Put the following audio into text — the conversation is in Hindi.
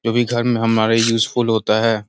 जो भी घर में हमारे यूजफुल होता है।